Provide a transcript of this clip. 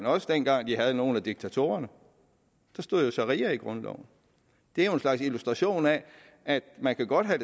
også dengang de havde nogle af diktatorerne der stod jo sharia i grundloven det er jo en slags illustration af at man godt kan